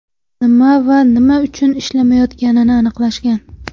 Nima va nima uchun ishlamayotganini aniqlashgan.